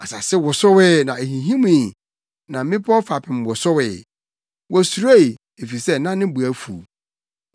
Asase wosowee na ehinhimii, na mmepɔw fapem wosowee wosuroe, efisɛ na ne bo afuw.